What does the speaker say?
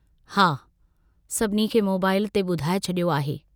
हा, सभिनी खे मोबाईल ते बुधाए छड़ियो आहे।